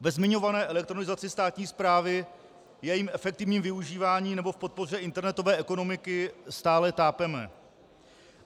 Ve zmiňované elektronizaci státní správy, jejím efektivním využívání nebo v podpoře internetové ekonomiky stále tápeme.